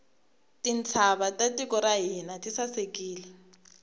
tintshava ta tiko ra hina ti sasekile